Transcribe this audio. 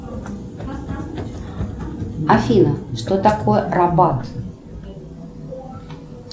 афина что такое рабалт